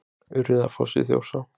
Urriðafoss í Þjórsá.